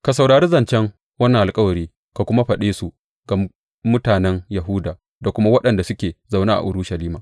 Ka saurari zancen wannan alkawari ka kuma faɗe su ga mutanen Yahuda da kuma waɗanda suke zaune a Urushalima.